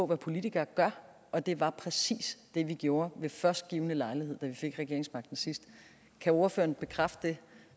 hvad politikere gør og det var præcis det vi gjorde ved først givne lejlighed da vi fik regeringsmagten sidst kan ordføreren bekræfte det